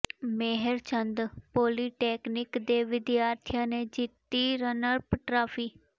ਮੇਹਰ Chand polytechnic ਦੇ ਵਿਦਿਆਰਥੀਆਂ ਨੇ ਜਿੱਤੀ ਰਨਰਅਪ ਟਰਾਫ਼ੀ